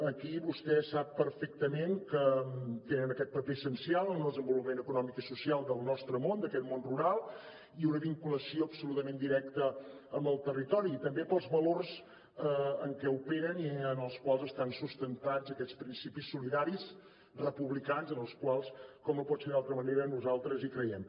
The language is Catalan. aquí vostè sap perfectament que tenen aquest paper essencial en el desenvolupament econòmic i social del nostre món d’aquest món rural i una vinculació absolutament directa amb el territori i també pels valors en què operen i en els quals estan sustentats aquests principis solidaris republicans en els quals com no pot ser d’altra manera nosaltres hi creiem